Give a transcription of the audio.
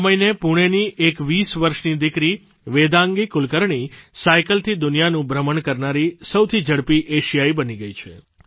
આ મહિને પૂણેની એક 20 વર્ષની દિકરી વેદાંગી કુલકર્ણી સાઇકલથી દુનિયાનું ભ્રમણ કરનારી સૌથી ઝડપી એશિયાઇ બની ગઇ છે